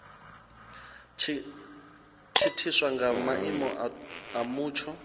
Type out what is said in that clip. thithiswa nga maimo a mutsho